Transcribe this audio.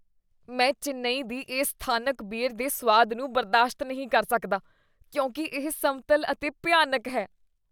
ਮੈਂ ਚੇਨੱਈ ਦੀ ਇਸ ਸਥਾਨਕ ਬੀਅਰ ਦੇ ਸੁਆਦ ਨੂੰ ਬਰਦਾਸ਼ਤ ਨਹੀਂ ਕਰ ਸਕਦਾ ਕਿਉਂਕਿ ਇਹ ਸਮਤਲ ਅਤੇ ਭਿਆਨਕ ਹੈ।